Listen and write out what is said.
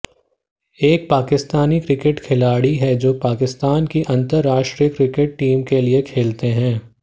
एक पाकिस्तानी क्रिकेट खिलाड़ी है जो पाकिस्तान की अंतर्राष्ट्रीय क्रिकेट टीम के लिए खेलते हैं